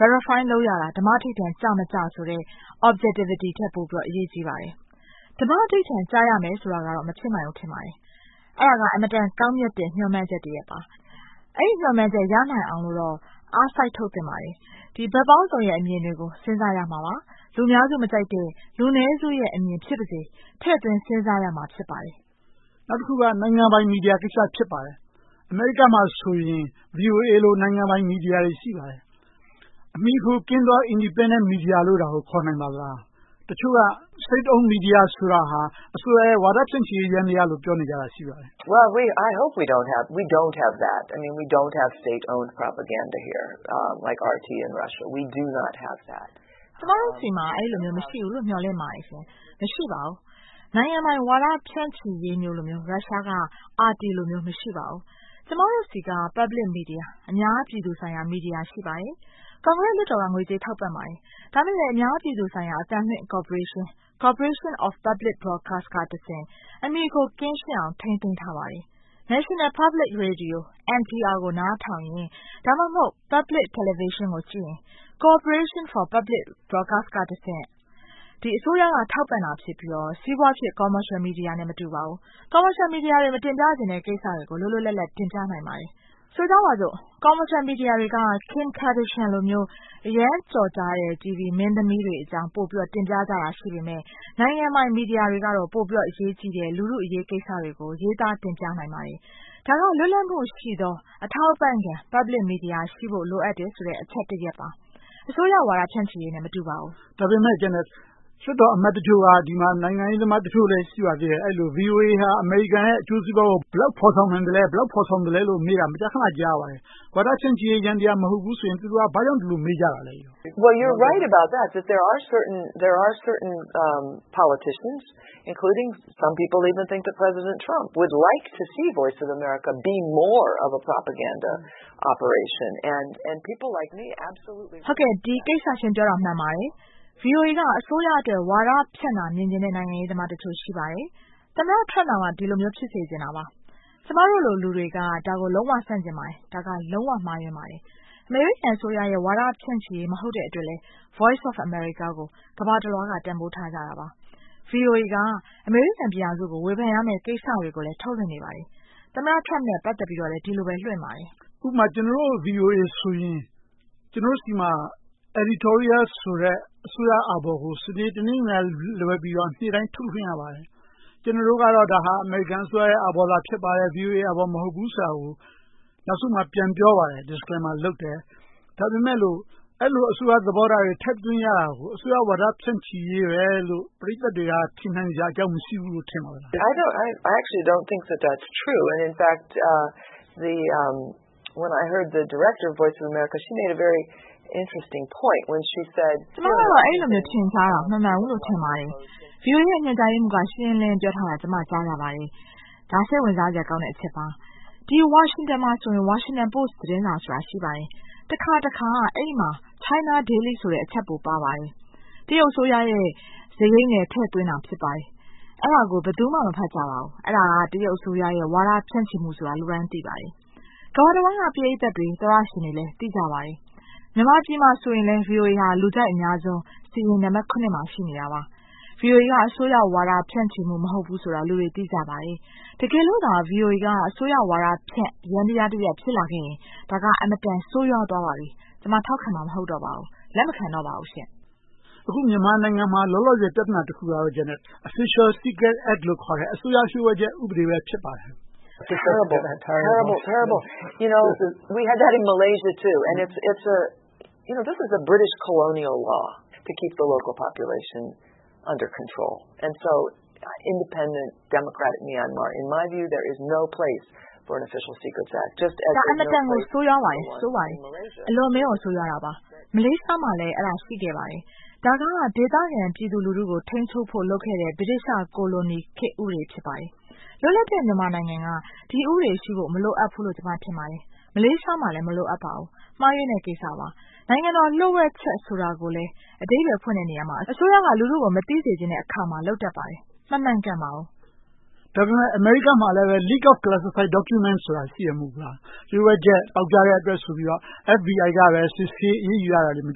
Verify လုပ်ရတာ ဓမ္မဓိဌာန်ကျမကျဆိုတဲ့ Objectivity ထက် ပိုပြီးတော့ အရေးကြီးပါတယ်။ ဓမ္မဓိဌာန် ကျရမယ်ဆိုတာကတော့ မဖြစ်နိုင်ဘူး ထင်ပါတယ်။ အဲဒါက အင်မတန်ကောင်းမြတ်တဲ့ မျှော်မှန်းချက်တရပ်ပါ။ အဲဒီမျှော်မှန်းချက် ရနိုင်အောင်လို့တော့ အားစိုက်ထုတ်သင့်ပါတယ်။ ဒီဘက်ပေါင်းစုံရဲ့ အမြင်တွေကို စဉ်းစားရမှာပါ။ လူအများစုမကြိုက်တဲ့ လူနည်းစုရဲ့အမြင် ဖြစ်ပါစေ ထည့်သွင်းစဉ်းစားရမှာ ဖြစ်ပါတယ်။ ဦးကျော်ဇံသာ ။ ။ နောက်တခုက နိုင်ငံပိုင် မီဒီယာကိစ္စ ဖြစ်ပါတယ်။ အမေရိကမှာဆိုရင် VOA လို နိုင်ငံပိုင်မီဒီယာတွေ ရှိပါတယ်။ အမှီအခိုကင်းသော Independent Media လို့ ခေါ်နိုင်ပါသလား။ တချို့က State owned media ဆိုတာဟာ အစိုးရရဲ့ ဝါဒဖြန့်ချီရေး ယန္တရားလို့ ပြောနေကြတာ ရှိပါတယ်။ Prof. Janet ။ ။ ကျမတို့ဆီမှာ အဲဒီလိုမျိုး အဲဒီလိုမျိုး မရှိဘူးလို့ မျှော်လင့်ပါတယ်။ မရှိပါဘူး။ နိုင်ငံပိုင်ဝါဒဖြန့်ချီရေးလိုမျိုး ရုရှားက RT လိုမျိုး မရှိပါဘူး။ ကျမတို့ဆီက Public media အများပြည်သူဆိုင်ရာ မီဒီယာ ရှိပါတယ်။ ကွန်ဂရက်လွှတ်တော်က ငွေကြေးထောက်ပံ့ပါတယ်။ ဒါပေမဲ့လဲ အများပြည်သူဆိုင်ရာ အသံလွှင့်ကော်ပိုရေးရှင်း Corporation for Public Broadcasting ကတဆင့် အမှီအခို ကင်းရှင်းအောင် ထိန်းသိမ်းထားပါတယ်။ National Public Radio ကို နားထောင်ရင် ဒါမှမဟုတ် Public Television ကိုကြည့်ရင် Corporation for Public Broadcasting ကတဆင့် ဒီအစိုးရက ထောက်ပံ့တာဖြစ်ပြီးတော့ စီးပွားဖြစ် Commercial Media နဲ့ မတူပါဘူး။ Commercial Media တွေ မတင်ပြချင်တဲ့ကိစ္စတွေကို လွတ်လွတ်လပ်လပ် တင်ပြနိုင်ပါတယ်။ ဆိုကြပါစို့ Commercial Media တွေက Kim Kardashian လိုမျိုး အရမ်းကျော်ကြားတဲ့ တီဗီမင်းသမီးတွေအကြောင်း တင်ပြကြတာ ရှိပေမယ့် နိုင်ငံပိုင်မီဒီယာတွေကတော့ ပိုပြီးတော့ အရေးကြီးတဲ့ လူထုအရေးကိစ္စတွေကို ရေးသားတင်ပြနိုင်ပါတယ်။ ဒါက လွတ်လပ်မှုရှိသော အထောက်အပံ့ခံ Public Media ရှိဖို့ လိုအပ်တယ်ဆိုတဲ့ အချက်တရပ်ပါ။ အစိုးရဝါဒဖြန့်ချီရေးနဲ့ မတူပါဘူး။ ဦးကျော်ဇံသာ ။ ။ ဒါပေမဲ့ လွှတ်တော်အမတ်တချို့က ဒီမှာ နိုင်ငံရေးသမားတချို့လည်း ရှိပါတယ်။ VOA ဟာ အမေရိကန်ရဲ့ အကျိုးစီးပွားကို ဘယ်လောက်ဖော်ဆောင်နိုင်သလဲ။ ဘယ်လောက် ဖော်ဆောင်သလဲလို့ မေးတာကို မကြာခဏ ကြားရပါတယ်။ ဝါဒဖြန့်ချီရေး ယန္တရား မဟုတ်ဘူးဆိုရင် သူတို့က ဘာကြောင့် ဒီလိုမေးကြတာလဲ။ Prof. Janet ။ ။ ဟုတ်ကဲ့ ဒီကိစ္စ ရှင်ပြောတာ မှန်ပါတယ်။ VOA က အစိုးရအတွက် ဝါဒဖြန့်တာ မြင်ချင်တဲ့ နိုင်ငံရေးသမားတချို့ ရှိပါတယ်။ သမ္မတ Trump တောင်မှ ဒီလိုမျိုး ဖြစ်စေချင်တာပါ။ ကျမတို့လို လူတွေက ဒါကို လုံးဝဆန့်ကျင်ပါတယ်။ ဒါက လုံးဝမှားယွင်းပါတယ်။ အမေရိကန်အစိုးရရဲ့ ဝါဒဖြန့်ချီရေး မဟုတ်တဲ့အတွက်လည်း Voice of America ကို ကမ္ဘာတလွှားက တန်းဖိုးထားကြတာပါ။ VOA က အမေရိကန်ပြည်ထောင်စုကို ဝေဖန်ရမယ့် ကိစ္စတွေကိုလည်း ထုတ်လွှင့်နေပါတယ်။ သမ္မတ Trump နဲ့ ပတ်သက်ပြီးတော့လည်း ဒီလိုပဲ ထုတ်လွှင့်ပါတယ်။ ဦးကျော်ဇံသာ ။ ။ ဥပမာ ကျနော်တို့ VOA ဆိုရင် ကျနော်တို့ဆီမှာ Editorial ဆိုတဲ့ အစိုးရအာဘော်ကို စနေ၊ တနင်္ဂနွေနေ့ကလွဲပြီးတော့ နေ့တိုင်းထုတ်လွှင့်ရပါတယ်။ ကျနော်တို့ကတော့ ဒါဟာ အမေရိကန်အစိုးရရဲ့ အာဘော် ဖြစ်ပါတယ်။ VOA အာဘော် မဟုတ်ဘူးဆိုတာကို နောက်ဆုံးမှာ ပြန်ပြောပါတယ်။ Disclaimer လုပ်တယ်။ ဒါပေမဲ့လို့ အဲဒီလို အစိုးရသဘောထားတွေ ထည့်သွင်းရတာကို အစိုးရဝါဒ ဖြန့်ချီရေးပဲလို့ ပရိသတ်တွေက ထင်နိုင်စရာအကြောင်း မရှိဘူးလို့ ထင်ပါသလား။ Prof. Janet ။ ။ ကျမတို့ကတော့ အဲဒီလိုမျိုး ထင်ကြတာ မမှန်ဘူးလို့ ထင်ပါတယ်။ VOA ရဲ့ ညွှန်ကြားရေးမှူးက ရှင်းရှင်းလင်းလင်း ပြောကြားထားတာကို ကြားရပါတယ်။ ဒါက စိတ်ဝင်စားစရာကောင်းတဲ့ အချက်ပါ။ ဒီ ဝါရှင်တန်မှာဆို Washington Post သတင်းစာဆိုတာ ရှိပါတယ်။ တခါတခါ အဲဒီမှာ China Daily ဆိုတဲ့ အချပ်ပို ပါရှိပါတယ်။ တရုတ်အစိုးရရဲ့ စရိတ်နဲ့ ထည့်သွင်းတာ ဖြစ်ပါတယ်။ အဲဒါကို ဘယ်သူမှ မဖတ်ကြပါဘူး။ အဲဒါ တရုတ်အစိုးရရဲ့ ဝါဒဖြန့်ချီမှုဆိုတာ လူတိုင်းသိပါတယ်။ ကမ္ဘာတဝှမ်းက ပရိသတ်တွေ၊ သောတရှင်တွေလည်း သိကြပါတယ်။ မြန်မာပြည်မှာဆိုရင်လည်း VOA က လူကြိုက်အများဆုံးစာရင်း နံပတ် မှာ ရှိနေတာပါ။ VOA က အစိုးရဝါဒဖြန့်ချီမှု မဟုတ်ဘူးဆိုတာ လူတွေ သိကြပါတယ်။ တကယ်လို့သာ VOA က အစိုးရဝါဒဖြန့် ယန္တရားတရပ် ဖြစ်လာခဲ့ရင် ဒါက အင်မတန် ဆိုးဝါးသွားပါပြီ။ ကျမ ထောက်ခံမှာ မဟုတ်တော့ပါဘူး။ လက်မခံတော့ပါဘူးရှင့်။ ဦးကျော်ဇံသာ ။ ။ အခု မြန်မာနိုင်ငံမှာ လောလောဆယ် ပြဿနာတခုကတော့ Official Secret Act လို့ ခေါ်တဲ့ အစိုးရလျှို့ဝှက်ချက် ဥပဒေ ဖြစ်ပါတယ်။ Prof. Janet ။ ။ ဒါ အင်မတန်ကို ဆိုးရွားပါတယ်။ ဆိုးပါတယ်။ အလွန်အမင်း ဆိုးရွားတာပါ။ မလေးရှားမှာလည်း အဲဒီဥပဒေ ရှိခဲ့ပါတယ်။ ဒါက ဒေသခံပြည်သူလူထုကို ထိန်းချုပ်ဖို့ လုပ်ခဲ့တဲ့ ဗြိတိသျှ ကိုလိုနီခေတ် ဥပဒေ ဖြစ်ပါတယ်။ လွတ်လပ်တဲ့ မြန်မာနိုင်ငံက ဒီဥပဒေရှိဖို့ မလိုအပ်ဘူးလို့ ကျမ ထင်ပါတယ်။ မလေးရှားမှာလည်း မလိုအပ်ပါဘူး။ မှားယွင်းတဲ့ကိစ္စပါ။ နိုင်ငံတော်လျှို့ဝှက်ချက် ဆိုတာကိုလည်း အဓိပ္ပါယ်ဖွင့်တဲ့နေရာမှာ အစိုးရက လူထုကို မသိစေချင်တဲ့အခါမှာ လုပ်တတ်ပါတယ်။ မမှန်ကန်ပါဘူး။ ဦးကျော်ဇံသာ ။ ။ ဒါပေမဲ့ အမေရိကမှာလည်း Leak of Classified Documents ဆိုတာ ရှိတယ် မဟုတ်ဘူးလား။ လျှို့ဝှက်ချက် ပေါက်ကြားလို့ဆိုပြီးတော့ FBI က စစ်ဆေးအရေးယူတာတွေ မ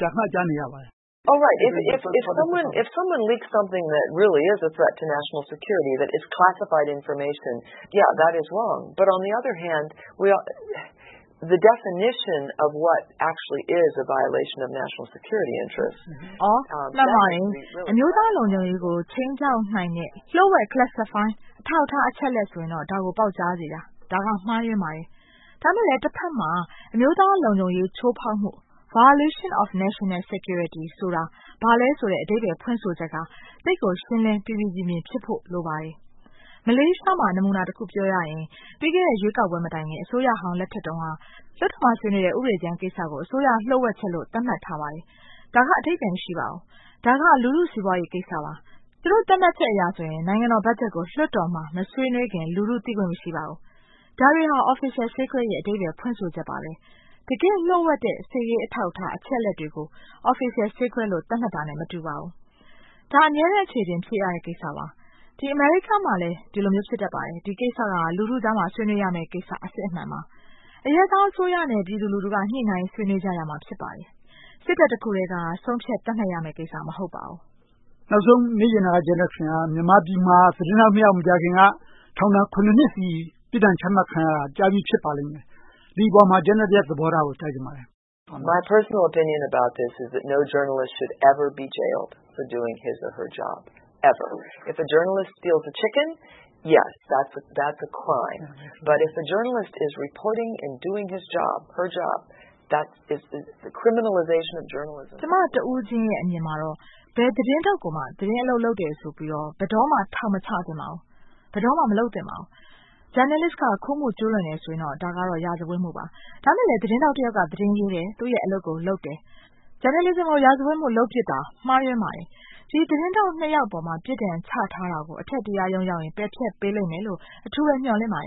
ကြာခဏ ကြားနေရပါတယ်။ Prof. Janet ။ ။ မှန်ပါတယ်။ အမျိုးသားလုံခြုံရေးကို ခြိမ်းခြောက်နိုင်တဲ့ လျှို့ဝှက် Classified အထောက်အထား အချက်အလက်ဆိုရင်တော့ ဒါကို ပေါက်ကြားစေတာ မှားယွင်းစေပါတယ်။ ဒါပေမဲ့လဲ တဘက်မှာ အမျိုးသားလုံခြုံရေး ချိုးဖောက်မှု Violation of National Security ဆိုတာ ဘာလဲဆိုတဲ့ အဓိပ္ပါယ်ဖွင့်ဆိုချက်က သိပ်ကိုရှင်းလင်း ပီပီပြင်ပြင် ဖြစ်ဖို့ လိုပါတယ်။ မလေးရှားမှာ နမူနာတခု ပြောရရင် ပြီးခဲ့တဲ့ ရွေးကောက်ပွဲမတိုင်ခင် အစိုးရဟောင်း လက်ထက်တုန်းက လွှတ်တော်ထဲမှာ ဆွေးနွေးတဲ့ ဥပဒေကြမ်းကိစ္စကို အစိုးရလျှို့ဝှက်ချက်လို့ သတ်မှတ်ထားပါတယ်။ ဒါက အဓိပ္ပါယ် မရှိပါဘူး။ ဒါက လူထုစီးပွားရေးကိစ္စပါ။ သူတို့ သတ်မှတ်ချက်အရဆိုရင် နိုင်ငံတော်ဘတ်ဂျက်ကို လွှတ်တော်မှာ မဆွေးနွေးခင် လူထု သိခွင့်မရှိပါဘူး။ ဒါတွေက Official Secret ရဲ့ အဓိပ္ပါယ် ဖွင့်ဆိုချက်ပါပဲ။ တကယ့်လျှို့ဝှက်တဲ့ စစ်ရေးအထောက်အထား၊ အချက်အလက်တွေကို Official Secret လို့ သတ်မှတ်တာနဲ့ မတူပါဘူး။ ဒါက အမြဲတမ်း အချေအတင် ဖြစ်ရတဲ့ကိစ္စပါ။ အမေရိကမှာလည်း ဒီလိုမျိုး ဖြစ်တတ်ပါတယ်။ ဒီကိစ္စက လူထုကြားမှာ ဆွေးနွေးရမယ့်ကိစ္စ အစစ်အမှန်ပါ။ အရပ်သားအစိုးရနဲ့ ပြည်သူလူထုက ညှိနှိုင်းဆွေးနွေးကြရမှာ ဖြစ်ပါတယ်။ စစ်တပ်တခုတည်းက ဆုံးဖြတ်သတ်မှတ်ရမယ့်ကိစ္စ မဟုတ်ပါဘူး။ ဦးကျော်ဇံသာ ။ ။ နောက်ဆုံးမေးချင်တာက မြန်မာပြည်မှာ သတင်းထောက်နှစ်ယောက် မကြာခင်က ထောင်ဒဏ် နှစ်ဆီ ပြစ်ဒဏ်ချမှတ်ခံရတာ ကြားပြီဖြစ်ပါလိမ့်မယ်။ ဒီအပေါ်မှာ Janet ရဲ့ သဘောထားကို ကြားချင်ပါတယ်။ Prof. Janet ။ ။ ကျမ တဦးချင်းရဲ့ အမြင်မှာတော့ ဘယ်သတင်းထောက်ကိုမှ သတင်းအလုပ်လုပ်တယ်ဆိုပြီးတော့ ဘယ်တော့မှ ထောင်မချသင့်ပါဘူး။ ဘယ်တော့မှ မလုပ်သင့်ပါဘူး။ Journalist က ခိုးမှုကျူးလွန်တယ်ဆိုရင်တော့ ဒါကတော့ ရာဇဝတ်မှုပါ။ ဒါပေမဲ့လဲ သတင်းထောက်တယောက်က သတင်းရေးတယ်၊ သူ့ရဲ့အလုပ်ကိုလုပ်တယ်၊ Journalism ကို ရာဇဝတ်မှု လုပ်ပြစ်တာ မှားယွင်းပါတယ်။ ဒီ သတင်းထောက်နှစ်ယောက်အပေါ်မှာ ပြစ်ဒဏ်ချထားတာကို အထက်တရားရုံးရောက်ရင် ပယ်ဖျက်ပေးလိမ့်မယ်လို့ အထူးပဲ မျှော်လင့်ပါတယ်